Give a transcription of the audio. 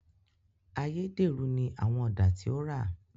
Ayédèrú ní àwọn Ọ̀dà tí ó rà